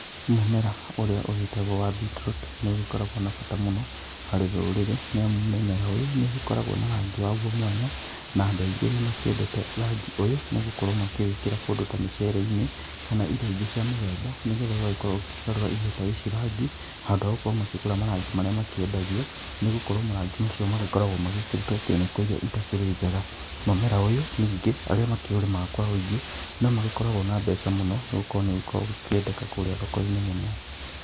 Mũmera ũrĩa ũgĩtagwo wa beetroot nĩ ũgĩkoragwo na bata mũno harĩ rũrĩrĩ nĩamu mũmera ũyũ nĩ ũgĩkoragwo na rangi wagũo mwanya na andũ aingĩ nĩ makĩendete rangi ũyũ nĩ gũkorwo makĩwĩkĩra kũndũ ta mĩcere-inĩ kana irio ingĩ cia mĩthemba nĩgetha ũgagĩkorwo ũgĩkĩgarũra irio ta ici rangi handũ ha gũkorwo makĩgũra marangi marĩa mekĩndagio nĩgũkorwo marangi mau makoragwo mekĩrĩtwo kemiko irĩa itakĩrĩ njega, mũmera ũyũ ningĩ arĩa makĩũrĩmaga kwa wĩingĩ no magĩkoragwo na mbeca mũno nĩgũkorwo nĩ ũkoragwo ũkĩendeka kũrĩa thoko-inĩ mũno.